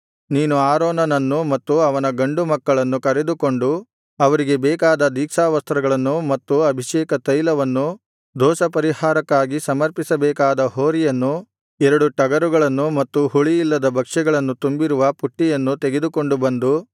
ನೀನು ಆರೋನನನ್ನು ಮತ್ತು ಅವನ ಗಂಡು ಮಕ್ಕಳನ್ನು ಕರೆದುಕೊಂಡು ಅವರಿಗೆ ಬೇಕಾದ ದೀಕ್ಷಾವಸ್ತ್ರಗಳನ್ನು ಮತ್ತು ಅಭಿಷೇಕತೈಲವನ್ನು ದೋಷಪರಿಹಾರಕ್ಕಾಗಿ ಸಮರ್ಪಿಸಬೇಕಾದ ಹೋರಿಯನ್ನು ಎರಡು ಟಗರುಗಳನ್ನು ಮತ್ತು ಹುಳಿಯಿಲ್ಲದ ಭಕ್ಷ್ಯಗಳು ತುಂಬಿರುವ ಪುಟ್ಟಿಯನ್ನು ತೆಗೆದುಕೊಂಡುಬಂದು